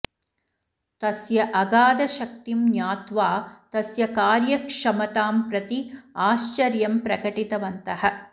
तस्य अगाधशक्तिं ज्ञात्वा तस्य कार्यक्षमतां प्रति आश्चर्यं प्रकटितवन्तः